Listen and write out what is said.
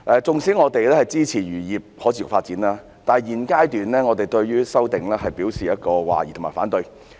縱使我們支持漁業可持續發展，但在現階段，我們對《條例草案》表示懷疑及反對。